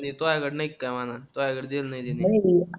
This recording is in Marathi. तुयाकडे नाहीका म्हणा तुझ्याकडेच दिल नाही त्याने